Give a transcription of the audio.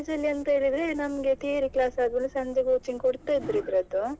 ಇಲ್ಲ ಅಂತ college ಅಲ್ಲಿ ಹೇಗೆ ಅಂತ ಹೇಳಿದ್ರೆ ನಮ್ಗೆ theory class ಆಗ್ವಾಗ ಸಂಜೆ coaching ಕೊಡ್ತಾ ಇದ್ರು ಇದ್ರದ್ದು.